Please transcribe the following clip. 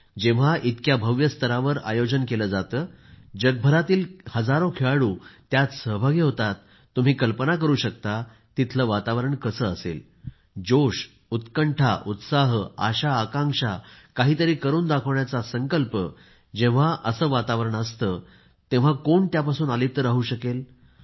जेव्हा इतक्या भव्य स्तरावर आयोजन केले जाते जगभरातील हजारो खेळाडू यात सहभागी होतात तुम्ही कल्पना करू शकता तिथले वातावरण कसे असेल जोश उत्कंठा उत्साह आशा आकांक्षा काहीतरी करून दाखवण्याचा संकल्प जेव्हा असे वातावरण असते तेव्हा कोण यापासून अलिप्त राहू शकेल